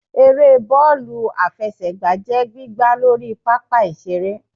Ère bọọlu afẹsẹgba jẹ gbìgbá Lorí pápá ìsere.